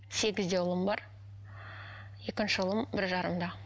сегізде ұлым бар екінші ұлым бір жарымда